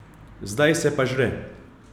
Zdaj se pa žre.